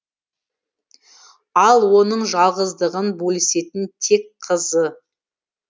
ал оның жалғыздығын бөлісетін тек қызы